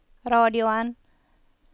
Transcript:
radioen